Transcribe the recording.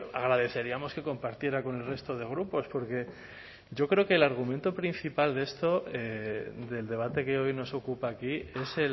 agradeceríamos que compartiera con el resto de grupos porque yo creo que el argumento principal de esto del debate que hoy nos ocupa aquí es